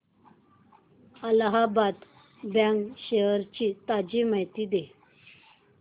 Allahabad bank shares ची ताजी माहिती दे